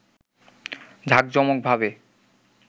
জাকজমকভাবে